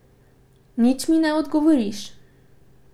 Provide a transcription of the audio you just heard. Nič mi ne odgovoriš?